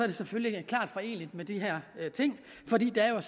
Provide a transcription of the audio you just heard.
det selvfølgelig klart foreneligt med de her ting fordi der er